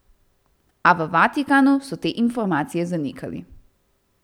A v Vatikanu so te informacije zanikali.